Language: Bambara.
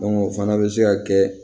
o fana bɛ se ka kɛ